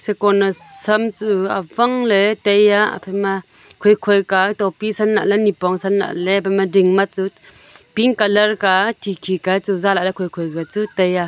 shiko naosam chu awang ley taiya aphai ma khoi khoi ka topi san lah ley nipong San lah ley aphaima ding ma chu pink color ka khikhi e chu zalah ley khoikhoi kachu taiya.